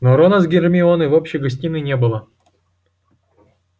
но рона с гермионой в общей гостиной не было